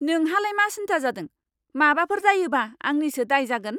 नोंहालाय मा सिनथा जादों? माबाफोर जायोबा आंनिसो दाय जागोन।